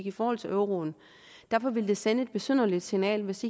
i forhold til euroen derfor ville det sende et besynderligt signal hvis